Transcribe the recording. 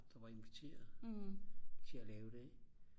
der var inviteret til at lave det ikke